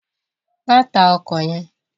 Má tá òkò yèn